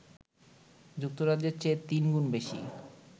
যুক্তরাজ্যের চেয়ে তিনগুণ বেশি!